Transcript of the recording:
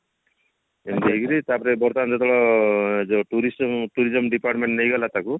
ଏମତି ହେଇକିରି ତାପରେ ବର୍ତମାନ ଯେତେବେଳେ tourist tourism department ନେଇଗଲା ତାକୁ